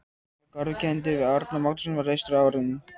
Árnagarður, kenndur við Árna Magnússon, var reistur á árunum